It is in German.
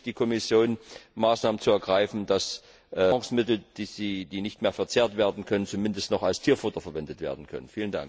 Auch hier bitte ich die Kommission, Maßnahmen zu ergreifen, dass Nahrungsmittel, die nicht mehr verzehrt werden können, zumindest noch als Tierfutter verwendet werden können.